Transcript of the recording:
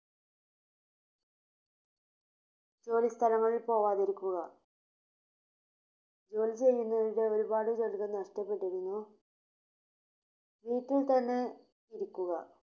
ജോലിസ്ഥലങ്ങളിൽ പോവാതിരിക്കുക ജോലി തന്നെ ഒരുപാട് പേരുടെ നഷ്ടപ്പെട്ടിരുന്നു. വീട്ടിൽ തന്നെ ഇരിക്കുക